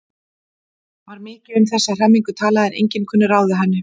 Var mikið um þessa hremmingu talað en enginn kunni ráð við henni.